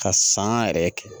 Ka san yɛrɛ kɛ